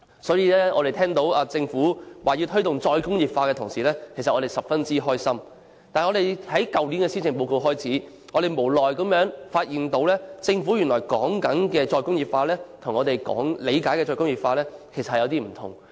所以，我們聽到政府要推動"再工業化"的時候都十分開心，但由去年施政報告開始，我們卻無奈地發現政府口中的"再工業化"與我們理解的"再工業化"有些不同。